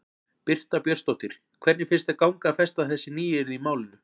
Birta Björnsdóttir: Hvernig finnst þér ganga að festa þessi nýyrði í málinu?